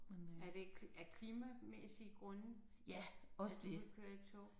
Er det af klimamæssige grunde at at du vil køre i tog?